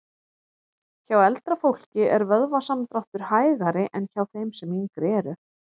Hjá eldra fólki er vöðvasamdráttur hægari en hjá þeim sem yngri eru.